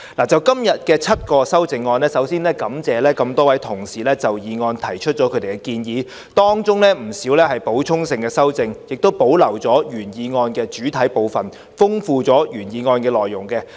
就今天7項修正案，首先感謝多位同事就議案提出建議，當中不少是補充性的修正，既保留了原議案的主體部分，亦豐富了原議案的內容。